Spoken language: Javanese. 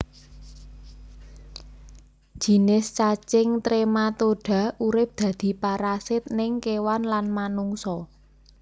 Jinis cacing Trematoda urip dadi parasit ning kewan lan Manungsa